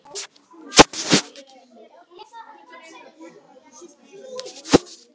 Sindri: Þetta gerist oft?